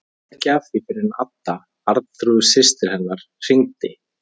Frétti ekki af því fyrr en Adda, Arnþrúður systir hennar, hringdi.